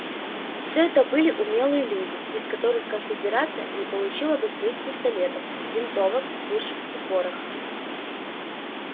все это были умелые люди без которых конфедерация не получила бы своих пистолетов винтовок пушек и пороха